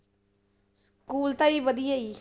School ਤਾਂ ਜੀ ਵਧੀਆ ਜੀ।